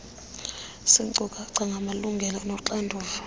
ziinkcukacha ngamalungelo noxanduva